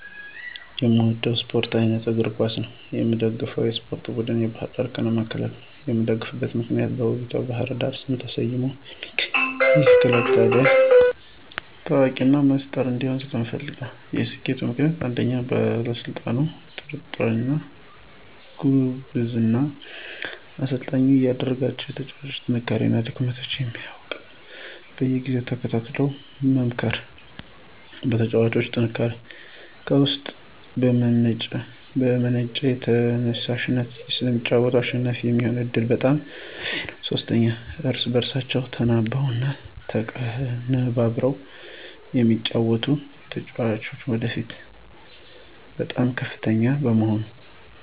እኔ የምወደው የስፓርት አይነት የእግር ኳስ ነው። የምደግፈውም የስፓርት ቡድን ባህር ዳር ከነማ ክለብን ነው። የምደግፍበት ምክንያት በውቢቷ ባህር ዳር ስም ተሰይሞ የሚገኘው ይህ ክለብ ታዋቂ እና ሰመ ጥር እንዲሆን ስለምፈልግ ነው። የሰኬቱ ምክንያቶች ፩) በአሰልጣኙ ጥንክርና እና ጉብዝና፦ አሰልጣኙ የእያንዳንዳቸውን የተጫዋጮች ጥንካሬ እና ድክመት ስለሚያውቅ በየጊዜው ተከታትሎ በመምከር። ፪) በተጫዋቾቹ ጥንካሬ፦ ከውስጥ በመነጨ ተየሳሽነት ስለሚጫወቱ አሸናፊ የሚሆኑበት ዕድል በጣም ሰፊ ነው። ፫) እርስ በእርሳቸው ተናበው እና ተቀነበብረው ስለሚጫወቱ። ፬) የተጫዋጮች የወደፊት ህልማቸው በጣም ከፍተኛ በመሆኑ።